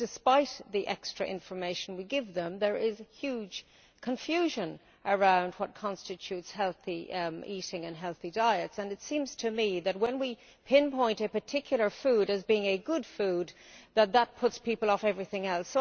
Despite the extra information we give them, there is huge confusion around what constitutes healthy eating and healthy diets, and it seems to me that when we pinpoint a particular food as being a good food, that puts people off everything else.